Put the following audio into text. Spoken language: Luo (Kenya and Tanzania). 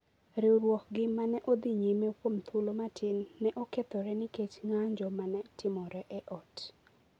riwruokgi ma ne odhi nyime kuom thuolo matin ne okethore nikech ng’anjo ma ne timore e ot.